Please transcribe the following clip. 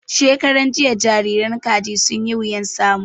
Shekaran jiya jariran Kaji sun yi wuyan samu